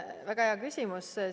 Väga hea küsimus!